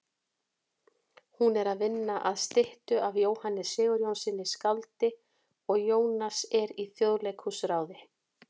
Hún er að vinna að styttu af Jóhanni Sigurjónssyni skáldi og Jónas er í Þjóðleikhúsráði.